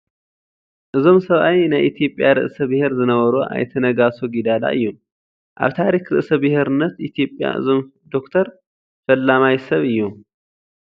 እዞም ሰብኣይ ናይ ኢትዮጵያ ርእሰ ብሄር ዝነበሩ ኣይተ ነጋሶ ጊዳዳ እዮም፡፡ ኣብ ታሪክ ርእሰ ብሄርነት ኢትዮጵያ እዞም ዶክተር ፈላማይ ሰብ እዮም፡፡